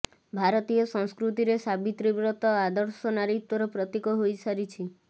ଭାରତୀୟ ସଂସ୍କୃତିରେ ସାବିତ୍ରୀ ବ୍ରତ ଆଦର୍ଶ ନାରୀତ୍ବର ପ୍ରତୀକ ହୋଇସାରିଛି